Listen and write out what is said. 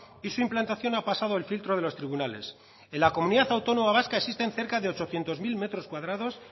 y su implantación ha pasado el filtro de los tribunales en la comunidad autónoma vasca existen cerca de ochocientos mil metros cuadrados